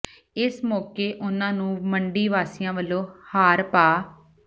ਇਸ ਮੌਕੇ ਉਨ੍ਹਾਂ ਨੂੰ ਮੰਡੀ ਵਾਸੀਆਂ ਵਲੋਂ ਹਾਰ ਪਾ